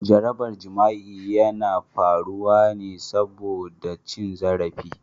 Jarabar jima'i yana faruwa ne saboda cin zarafin.